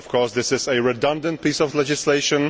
This is a redundant piece of legislation.